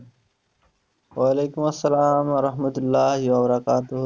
ওয়ালাইকুম আসসালাম রাহমাতুল্লাহ ইয়া ওরা কাতো,